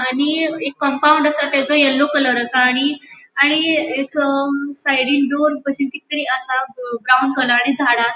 आणि एक कम्पाउन्ड आसा तेजो येल्लो कलर आसा आणि आणि ह्रेजो साइडीन आसा ब्राउन कलर आणि झाडा आसा.